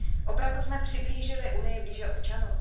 Opravdu jsme přiblížili Unii blíže občanům?